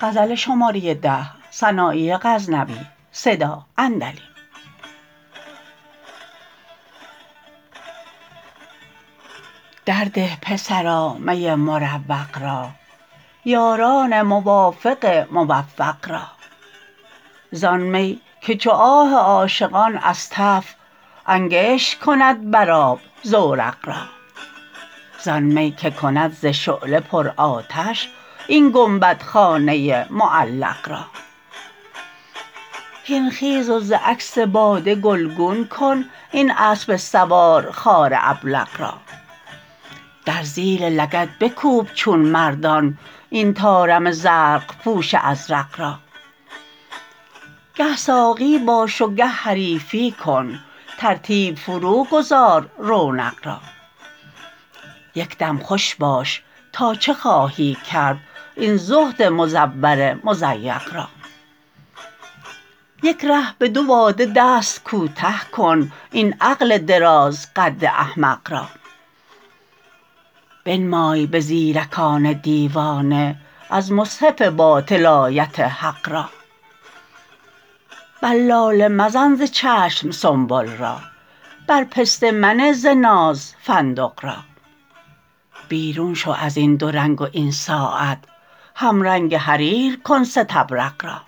در ده پسرا می مروق را یاران موافق موفق را زان می که چو آه عاشقان از تف انگشت کند بر آب زورق را زان می که کند ز شعله پرآتش این گنبد خانه معلق را هین خیز و ز عکس باده گلگون کن این اسب سوارخوار ابلق را در زیر لگد بکوب چون مردان این طارم زرق پوش ازرق را گه ساقی باش و گه حریفی کن ترتیب فروگذار رونق را یک دم خوش باش تا چه خواهی کرد این زهد مزور مزبق را یک ره به دو باده دست کوته کن این عقل درازقد احمق را بنمای به زیرکان دیوانه از مصحف باطل آیت حق را بر لاله مزن ز چشم سنبل را بر پسته منه ز ناز فندق را بیرون شو ازین دو رنگ و این ساعت همرنگ حریر کن ستبرق را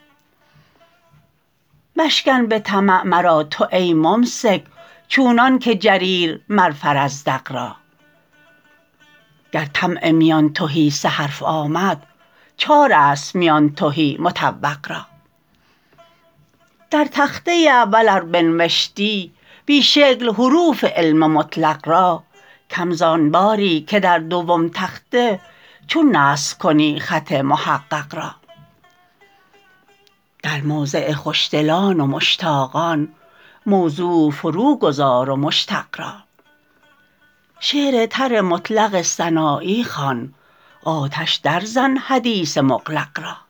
مشکن به طمع مرا تو ای ممسک چونان که جریر مر فرزدق را گر طمع میان تهی سه حرف آمد چار است میان تهی مطوق را در تخته اول ار بنوشتی بی شکل حروف علم مطلق را کم زان باری که در دوم تخته چون نسخ کنی خط محقق را در موضع خوشدلان و مشتاقان موضوع فروگذار و مشتق را شعر تر مطلق سنایی خوان آتش درزن حدیث مغلق را